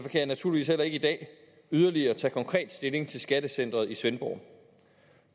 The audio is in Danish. jeg naturligvis heller ikke i dag yderligere tage konkret stilling til skattecenteret i svendborg